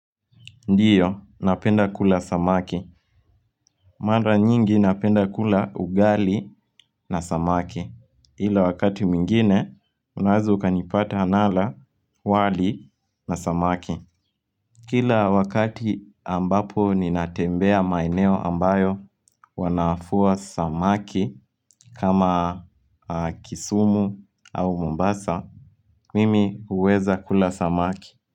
Ndiyo, napenda kula samaki Manda nyingi napenda kula ugali na samaki Hila wakati mingine, unazuka nipata anala wali na samaki Kila wakati ambapo ninatembea maineo ambayo wanafua samaki kama kisumu au mumbasa Mimi uweza kula samaki.